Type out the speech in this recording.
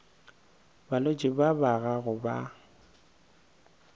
balwetši ba ba gago ba